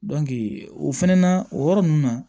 o fɛnɛ na o yɔrɔ ninnu na